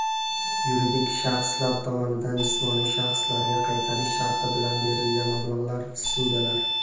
Yuridik shaxslar tomonidan jismoniy shaxslarga qaytarish sharti bilan berilgan mablag‘lar (ssudalar).